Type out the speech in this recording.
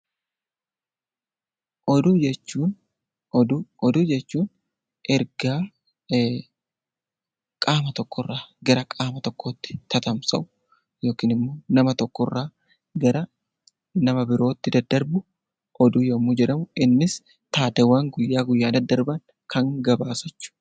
Oduu jechuun ergaa qaama tokkorraa gara qaama tokkootti tamsa'u yookiin immoo nama tokkorraa gara nama birootti daddarbu oduu yommuu jedhamu, innis taateewwan guyyaa guyyaan daddarban kan gabaasu jechuudha.